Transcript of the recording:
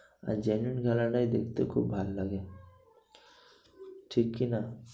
আর genuine খেলাটাই দেখতে খুব ভালো লাগে। ঠিক কি না?